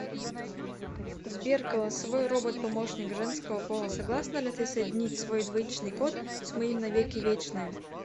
сбер голосовой робот помощник женского пола согласна ли ты соединить свой двоичный код с моим на веки вечные